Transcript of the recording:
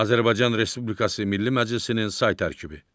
Azərbaycan Respublikası Milli Məclisinin say tərkibi.